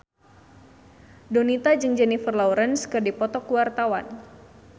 Donita jeung Jennifer Lawrence keur dipoto ku wartawan